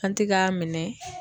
An tɛ k'a minɛ.